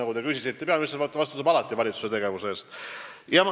Ma hakkasin eile või viimastel päevadel uurima, mida Eesti poliitikud arvavad.